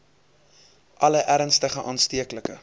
alle ernstige aansteeklike